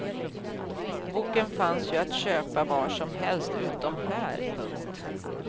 Boken fanns ju att köpa var som helst utom här. punkt